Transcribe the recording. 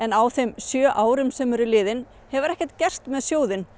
á þeim sjö árum sem eru liðin hefur ekkert gerst með sjóðinn